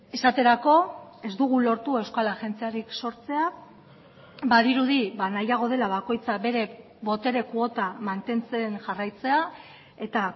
esaterako ez dugu lortu euskal agentziarik sortzea badirudi nahiago dela bakoitza bere botere kuota mantentzen jarraitzea eta